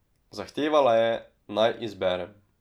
Zahtevala je, naj izberem.